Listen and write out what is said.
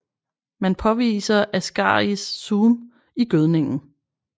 Man påviser Ascaris suum i gødningen